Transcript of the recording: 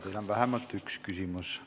Teile on vähemalt üks küsimus.